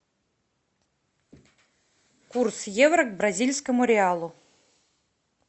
курс евро к бразильскому реалу